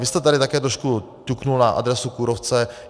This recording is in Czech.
Vy jste tady také trošku ťukl na adresu kůrovce.